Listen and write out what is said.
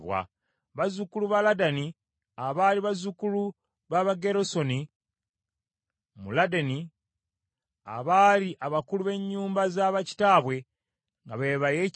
Bazzukulu ba Ladani, abaali bazzukulu b’Abagerusoni mu Ladani, abaali abakulu b’ennyumba za bakitaabwe nga be ba Yekyeri,